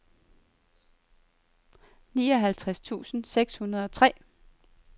nioghalvtreds tusind seks hundrede og tre